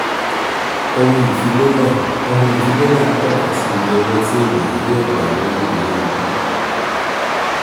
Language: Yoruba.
ohun ìfilélẹ̀: ohun ìfilélẹ̀ ń tọ́ka sí iye owó tí ènìyàn yóò gbà lórí ìwé ogún.